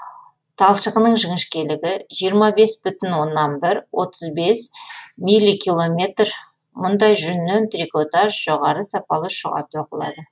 талшығының жіңішкелігі жиырма бес бүтін оннан бір отыз бес милликилометр мұндай жүннен трикотаж жоғары сапалы шұға тоқылады